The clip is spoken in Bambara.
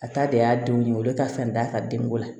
A ta de y'a denw ye olu de ka fisa ni d'a ka denko la